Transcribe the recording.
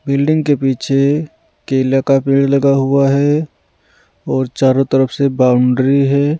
Building के पीछे केला का पेड़ लगा हुआ है और चारों तरफ से बाउंड्री है।